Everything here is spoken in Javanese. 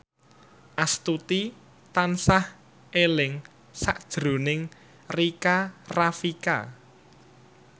Astuti tansah eling sakjroning Rika Rafika